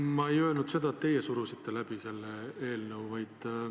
Ma ei öelnud seda, et teie surusite selle eelnõu läbi.